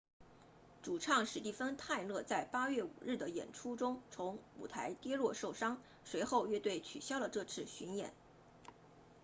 主唱史蒂芬泰勒在8月5日的演出中从舞台跌落受伤随后乐队取消了这次巡演